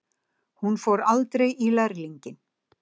Hún fór aldrei í Lærlinginn.